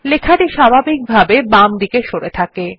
লেখাটি স্বাভাবিকভাবে বামদিকে সরে থাকে